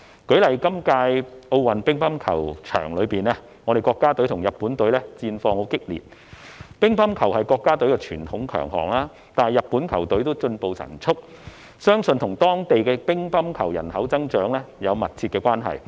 舉例而言，在今屆奧運乒乓球場上，國家隊與日本隊戰況激烈；傳統上，乒乓球是國家的強項，但日本的球隊也進步神速，相信與當地乒乓球人口增長有密切關係。